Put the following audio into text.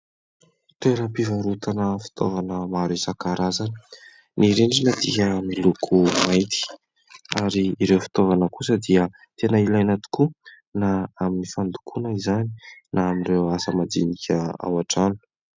Toeram-pivarotana fitaovana maro isankarazany. Ny rindrina dia miloko mainty ary ireo fitaovana kosa dia tena ilaina tokoa na amin' ny fandokoana izany na amin' ireo asa madinika ao an-trano.